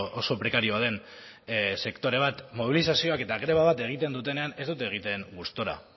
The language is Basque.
oso prekarioa den sektore bat mobilizazioak eta greba bat egiten dutenean ez dute egiten gustura